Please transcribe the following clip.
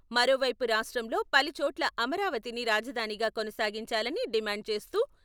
మరో వైపు రాష్ట్రంలో పలు చోట్ల అమరావతిని రాజధానిగా కొనసాగించాలని డిమాండ్ చేస్తూ..